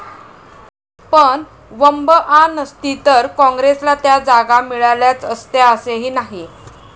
पण वंबआ नसती तर काँग्रेसला त्या जागा मिळाल्याच असत्या असेही नाही.